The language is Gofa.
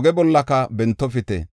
oge bollaka bentofite.